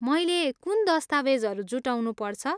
मैले कुन दस्तावेजहरू जुटाउनुपर्छ?